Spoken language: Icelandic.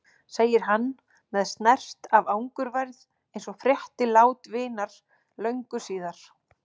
segir hann með snert af angurværð eins og frétti lát vinar löngu síðar.